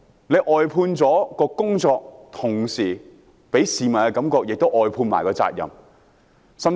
外判工作給市民的感覺，是責任亦外判了。